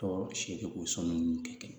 Tɔ seegin o so ninnu tɛ kɛ